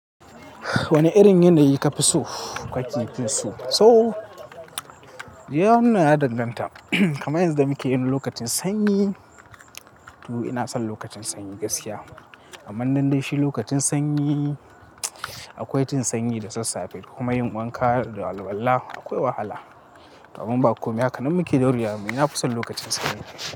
Wani irin yanayi ka fi so? Kwancin kinsu so? Ya wannan yana dandanta kamar yanzu da muke yi lokacin sanyi. To ina son lokacin sanyi gaskiya. Amman don dai shi lokacin sanyi akwai jin sanyi da sassafe, kuma yin wanka da alwalla akwai wahala. Domin ba komai haka, nan muke da riya mu nafi son lokacin sanyi.